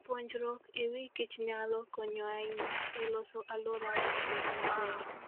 Puonjruok e wi kichnyalo konyo ahinya e loso alworawa obed maber.